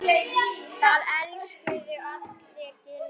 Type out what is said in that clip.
Það elskuðu allir Gylfa.